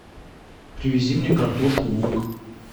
привези мне картошку лук